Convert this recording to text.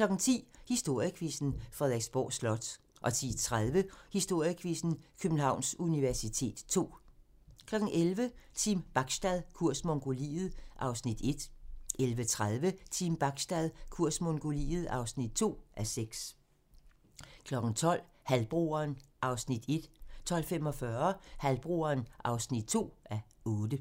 10:00: Historiequizzen: Frederiksborg Slot 10:30: Historiequizzen: Københavns universitet ll 11:00: Team Bachstad - kurs Mongoliet (1:6) 11:30: Team Bachstad - kurs Mongoliet (2:6) 12:00: Halvbroderen (1:8) 12:45: Halvbroderen (2:8)